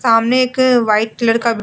सामने एक white colour का --